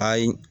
Ayi